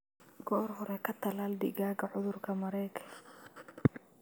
Goor hore ka tallaal digaagga cudurka Marek.